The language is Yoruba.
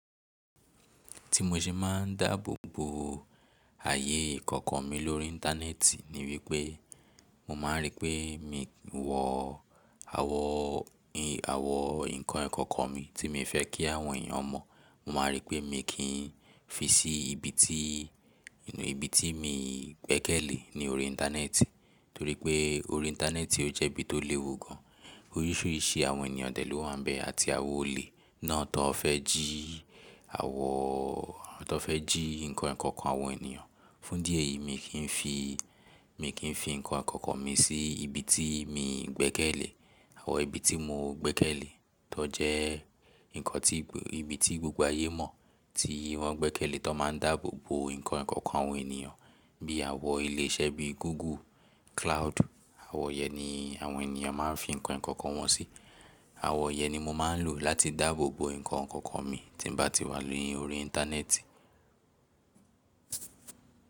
Tí mo ṣe máa ń dáàbò bo ayé ikoko mi lórí íńtánẹ́ẹ̀tì ni wípé mo máa rí pé mi o wọ̀ àwọ̀n, ǹkan ikọ̀ko mi tí mi fẹ́ kí àwọn èèyàn mọ̀. Mo máa rí pé mi kì í fi sí ibi tí, ìnù ibi tí mi gbẹ́kẹ̀lé ní orí íńtánẹ́ẹ̀tì. Torí pé orí íńtánẹ́ẹ̀tì ó jẹ́ ibi tó léwu gan an. Orísìírísìí àwọn ènìyàn dè ló wà ń bẹ àti àwọn olè náà tó fẹ́ jí àwọn, tó fẹ́ jí ǹkan ikọ̀ko àwọn ènìyàn. Fún díẹ̀ yìí mi kì í fi, mi kì í fi ǹkan ẹ̀kọ̀kan mi sí ibi tí mi gbẹ́kẹ̀lé. Àwọn ibi tí mo gbẹ́kẹ̀lé tó jẹ́ ǹkan tí, ibi tí gbogbo ayé mọ̀ tí wọ́n gbẹ́kẹ̀lé tó máa ń dáàbò bo ǹkan ikọ̀ko àwọn ènìyàn bí àwọn ilé iṣẹ́ bí Google Cloud. Àwọn yẹn ni àwọn ènìyàn máa ń fi ǹkan ìkọ̀kò wọn sí. Àwọn yẹn ni mo máa ń lò láti dáàbò bo ǹkan ikọ̀kò mi tí n bá ti wà lórí íńtánẹ́ẹ̀tì.